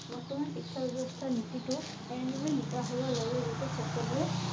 বৰ্তমান শিক্ষা ব্যৱস্থাৰ নীতি টো এনেদৰে নিকা হব লাগে যে যাতে সকলোৱে